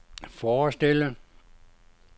forestille